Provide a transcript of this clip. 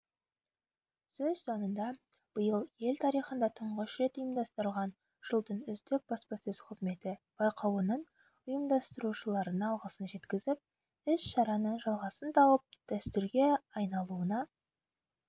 сөз соңында биыл ел тарихында тұңғыш рет ұйымдастырылған жылдың үздік баспасөз қызметі байқауының ұйымдастырушыларына алғысын жеткізіп іс-шараның жалғасын тауып дәстүрге айналуына